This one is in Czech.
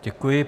Děkuji.